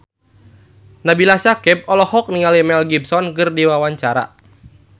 Nabila Syakieb olohok ningali Mel Gibson keur diwawancara